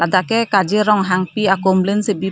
lake kajir ronghangpi akumlin si bi po--